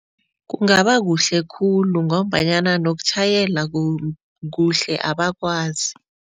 Kungabakuhle khulu ngombanyana nokutjhayela kuhle abakwazi.